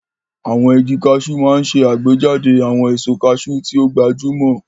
Àwọn igi Cashew máa ń ṣe àgbéjáde àwọn èso cashew tí ó gbajúmọ̀.